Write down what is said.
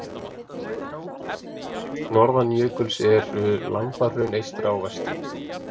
Norðan jökuls eru Lambahraun eystra og vestra.